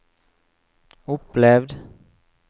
opplevd